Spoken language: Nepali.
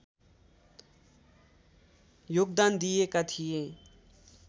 योगदान दिएका थिए